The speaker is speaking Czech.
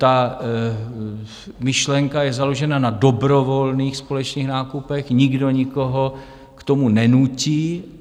Ta myšlenka je založena na dobrovolných společných nákupech, nikdo nikoho k tomu nenutí.